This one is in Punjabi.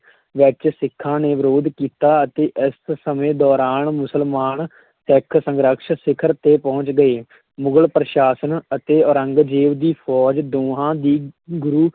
ਵਿੱਚ ਸਿੱਖਾਂ ਨੇ ਵਿਰੋਧ ਕੀਤਾ ਅਤੇ ਇਸ ਸਮੇਂ ਦੌਰਾਨ ਮੁਸਲਮਾਨ ਸਿੱਖ ਸੰਘਰਸ਼ ਸਿਖਰ 'ਤੇ ਪਹੁੰਚ ਗਏ ਮੁਗ਼ਲ ਪ੍ਰਸ਼ਾਸਨ ਅਤੇ ਔਰੰਗਜ਼ੇਬ ਦੀ ਫ਼ੌਜ ਦੋਵਾਂ ਦੀ ਗੁਰੂ